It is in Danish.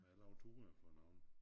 Og jeg laver ture for nogle